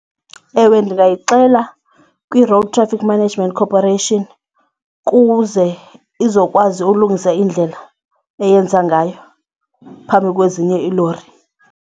Ewe, ndingayixela kwi-Road Traffic Management Corporation ukuze izokwazi ukulungisa indlela eyenza ngayo phambi kwezinye iilori.